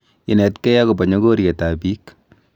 Inetkei okobo nyogoryet ab biik